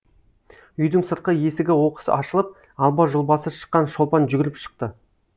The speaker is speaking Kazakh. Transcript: үйдің сыртқы есігі оқыс ашылып алба жұлбасы шыққан шолпан жүгіріп шықты